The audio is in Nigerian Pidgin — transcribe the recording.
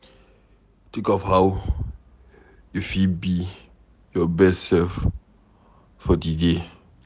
Think of how you fit be your best self for di day